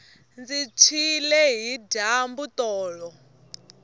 ndzi tshwile hi dyambu tolo